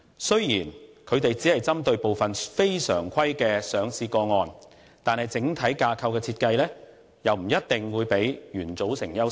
雖然他們只是針對部分非常規的上市個案，但整體架構的設計不一定會較原組成優勝。